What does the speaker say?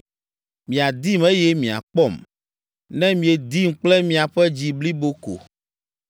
Miadim eye miakpɔm; ne miedim kple miaƒe dzi blibo ko.